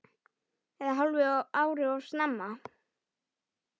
Eða hálfu ári of snemma.